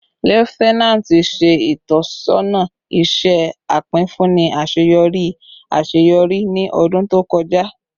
Lieutenant ṣe itọsọna iṣẹ apinfunni aṣeyọri aṣeyọri ni ọdun to kọja